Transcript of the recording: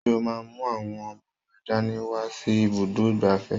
Ṣé o máa mú àwọn ọmọ rẹ dání wá sí ibùdó ìgbafẹ́?